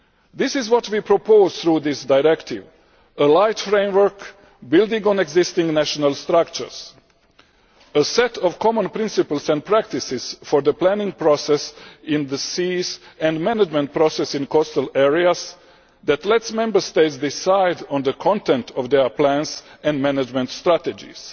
This is what we propose through this directive a light framework, building on existing national structures, a set of common principles and practices for the planning process in the seas and management process in coastal areas that lets Member States decide on the content of their plans and management strategies.